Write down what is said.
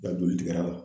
I ka joli tigɛ la